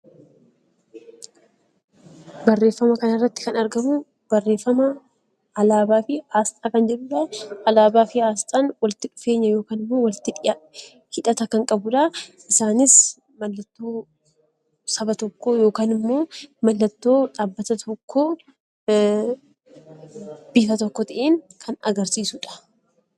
Barreeffama kana irratti kan argamu, barreeffama asxaa fi alaabaa jedhudha. Alaabaa fi asxaan walitti dhufeenya hidhata kan qabudha. Isaanis giddu saba tokkoo bifa tokko ta'een kan agarsiisudha.